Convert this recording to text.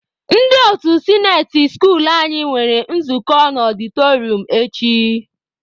Ndị otu sinate skuulu anyị nwere nzukọ na ọdịtọrịọm echi.